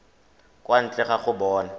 kwa ntle ga go bona